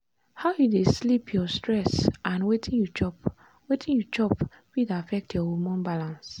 how you dey sleep your stress and wetin you chop wetin you chop fit affect your hormone balance.